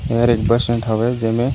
और एक bus stand होवे जेमे-- --